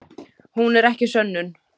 Hún er ekki sönnun.